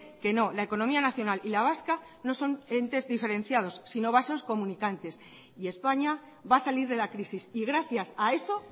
que no la economía nacional y la vasca no son entes diferenciados sino vasos comunicantes y españa va a salir de la crisis y gracias a eso